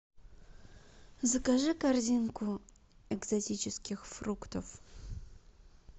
закажи корзинку экзотических фруктов